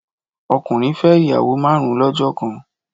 Ọkùnrin fẹ́ ìyàwó márùn lọ́jọ́ kan